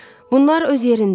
Bunlar öz yerində.